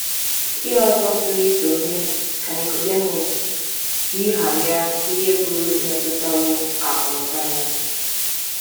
Ihe ọzọ pụrụ iso mee ka Nikọdimọs yigharịa ihe pụrụ imetụtawo akụ̀ na ụba ya.